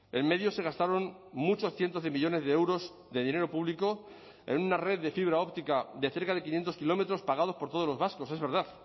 en medio se gastaron muchos cientos de millónes de euros de dinero público en una red de fibra óptica de cerca de quinientos kilómetros pagados por todos los vascos es verdad